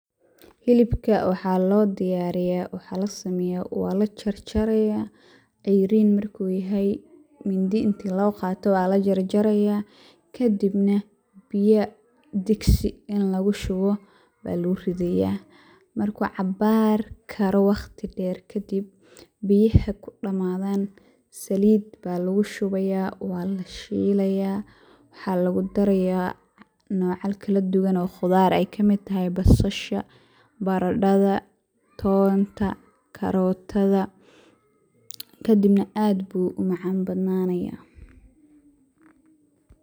Hilibka waxaa loo diyaariya waxaa lasameeya waa la jarjariya ,ceyrin marku yahay mindi inti loo qaato aa lajar jaraya, kadibna biya digso in lagu shubo aya lugu ridiya, markuu cabaar karo waqti dheer kadib biyaha kudhamadaan saliida baa lugu shubiya waa lugu shiiliya waxaa lugu daraya nocal kala duban oo qudar ay kamid tahay basasha, barandhada, tonta karootada ,kadibna aad bu u macaan badnanaya